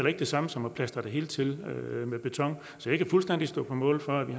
ikke det samme som at plastre det hele til med beton så jeg kan fuldstændig stå på mål for at vi